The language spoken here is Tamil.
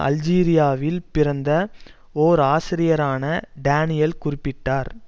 அல்ஜீரியாவில் பிறந்த ஒர் ஆசிரியரான டானியல் குறிப்பிட்டார்